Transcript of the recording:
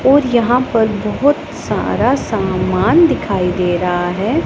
और यहां पर बहोत सारा सामान दिखाई दे रहा है।